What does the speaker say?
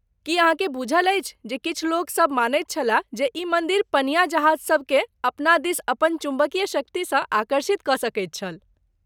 की अहाँकेँ बुझल अछि जे किछु लोक सब मानैत छलाह जे ई मन्दिर पनिया जहाजसभ केँ अपना दिस अपन चुम्बकीय शक्तिसँ आकर्षित कऽ सकैत छल।